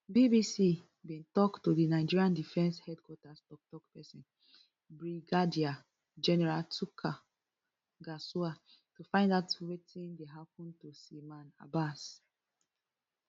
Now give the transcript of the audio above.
bbc bin tok to di nigerian defence headquarters toktok pesin brigadier general tukur gusau to find out wetin dey happun to seaman abbas